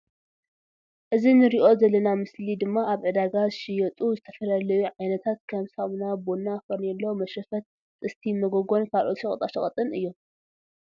እዚ ንሪኦ ዝልና ምስሊ ድማ ኣብ ዕዳጋ ዝሽይጡ ዝትፍላልዩ ዓይንት ክም ሳሙና ቡና ፈርኔሎ ምሽርፈት ጥስቲ ምጎጎን ካልኦት ሽቀጣ ሽቀጥ እዩም።